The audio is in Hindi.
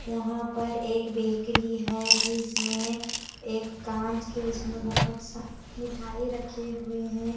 यहां पर एक बेकरी है जिसमें एक कांच केस में बहोत सा मिठाई रखे हुए हैं।